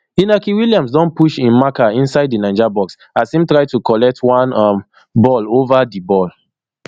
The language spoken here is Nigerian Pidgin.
inaki williams don push im marker inside di niger box as im try to collect one um ball ova di ball